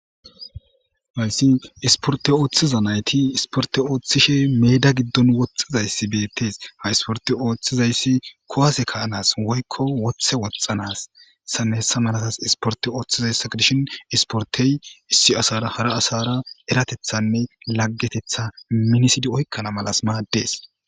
Hayisi issiporite oththiza nayit issiporite ooththishe meda giddoni dizayis beteesi ha issiporite oththizayis kuwase kaanas woyikko woththe woththaanas hesanne hesa malatas issiporite oththizayisa gidishshin he issipporitey issi asara hara asara lageteththan e minoteththa minisid oyikkanas madees